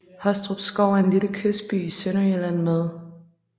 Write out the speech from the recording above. Hostrupskov er en lille kystby i Sønderjylland med